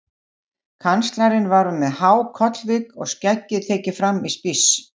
Kanslarinn var með há kollvik og skeggið tekið fram í spíss.